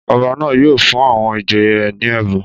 Ọba náà yóò fún àwọn ìjòyè rẹ ní ẹ̀bùn